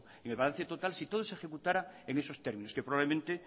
en el balance total si todo se ejecutara en esos términos que probablemente